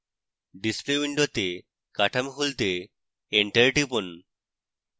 display window কাঠামো খুলতে enter টিপুন